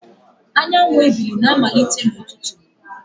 Anyanwụ ebili na-amalite n'ụtụtụ